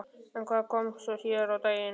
En hvað kom svo síðar á daginn?